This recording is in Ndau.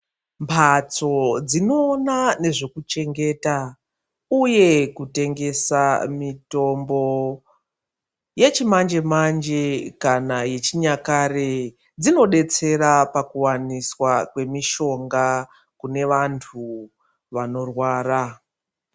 Mhatso dzinoona nezvekuchengeta, uye kutengesa mitombo yechimanje-manje kana yechinyakare. Dzinobetsera pakuvaniswa kwemishonga kune vantu vanorwara.